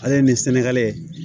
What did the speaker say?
Ale ni sɛnɛgali